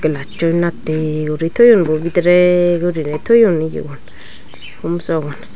nacchoi natte uri toyon bo bidire gurine toyon indibo tumsong.